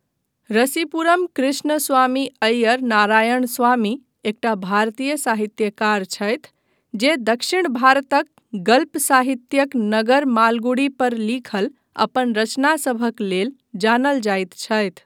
रसीपुरम कृष्णस्वामी अय्यर नारायणस्वामी एकटा भारतीय साहित्यकार छथि जे दक्षिण भारतक गल्प साहित्यिक नगर मालगुडी पर लिखल अपन रचना सभक लेल जानल जाइत छथि।